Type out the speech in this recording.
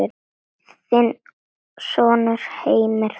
Þinn sonur Heimir Þór.